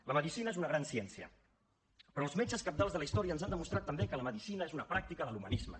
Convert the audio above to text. la medicina és una gran ciència però els metges cabdals de la història ens han demostrat també que la medicina és una pràctica de l’humanisme